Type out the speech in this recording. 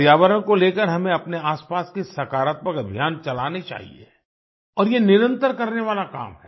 पर्यावरण को लेकर हमें अपने आसपास के सकारात्मक अभियान चलाने चाहिए और ये निरंतर करने वाला काम है